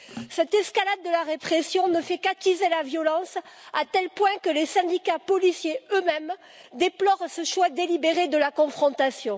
Cette escalade de la répression ne fait qu'attiser la violence, à tel point que les syndicats policiers eux mêmes déplorent ce choix délibéré de la confrontation.